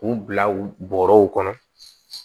K'u bila u bɔrɔw kɔnɔ